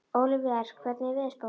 Ólíver, hvernig er veðurspáin?